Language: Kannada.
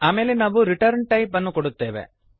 ಆಮೇಲೆ ನಾವು return type ಅನ್ನು ಕೊಡುತ್ತೇವೆ